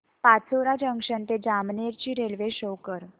Pachora junction ते जामनेर ची railway show कर